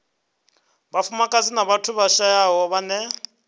vhafumakadzi na vhathu vhashayaho vhane